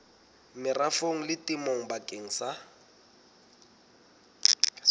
merafong le temong bakeng sa